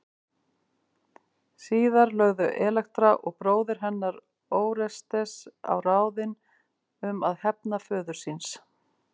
Síðar lögðu Elektra og bróðir hennar Órestes á ráðin um að hefna föður síns.